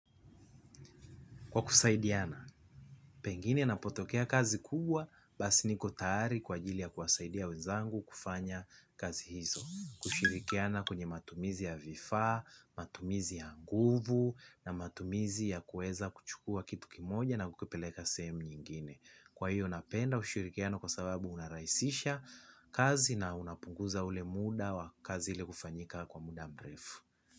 Kwa kusaidiana, pengine napotokea kazi kubwa, basi niko tayari kwa ajili ya kuwasaidia wenzangu kufanya kazi hizo. Kushirikiana kwenye matumizi ya vifaa, matumizi ya nguvu, na matumizi ya kuweza kuchukua kitu kimoja na kukipeleka sehemu nyingine. Kwa hiyo, napenda ushirikiano kwa sababu unarahisisha kazi na unapunguza ule muda wa kazi zile hufanyika kwa muda mrefu.